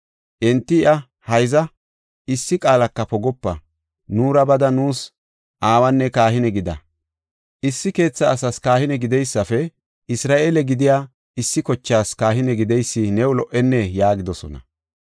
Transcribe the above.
Enti iya, “Hayza, issi qaalaka pogopa. Nuura bada nuus aawanne kahine gida. Issi keetha asas kahine gideysafe Isra7eele gidiya issi kochas kahine gideysi new lo77enee?” yaagidosona.